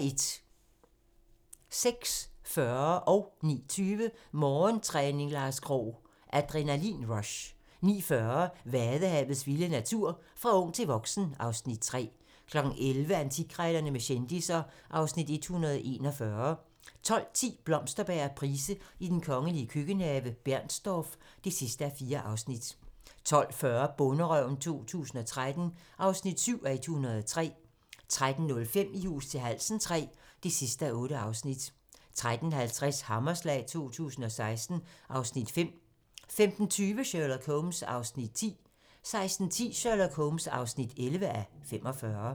06:40: Morgentræning: Lars Krogh - Adrenalin-rush 09:20: Morgentræning: Lars Krogh - Adrenalin-rush 09:40: Vadehavets vilde natur: Fra ung til voksen (Afs. 3) 11:00: Antikkrejlerne med kendisser (Afs. 141) 12:10: Blomsterberg og Price i den kongelige køkkenhave: Bernstorff (4:4) 12:40: Bonderøven 2013 (7:103) 13:05: I hus til halsen III (8:8) 13:50: Hammerslag 2016 (Afs. 5) 15:20: Sherlock Holmes (10:45) 16:10: Sherlock Holmes (11:45)